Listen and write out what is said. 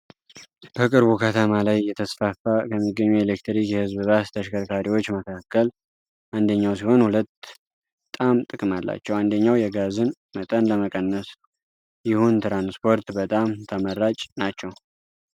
በቅርቡ ከተማ ላይ የተስፋፉ ከሚገኙ የኤሌክትሪክ የህዝብ ባስ ተሸከርካሪዎች መካከል አንደኛው ሲሆን ሁለት በጣም ጥቅም አላቸው አንደኛው የጋዝን መጠን ለመቀነስ ይሁን ትራንስፖርት በጣም ተመራጭ ናቸው።